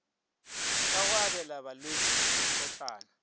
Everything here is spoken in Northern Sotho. ka go abela balwetši mekotlana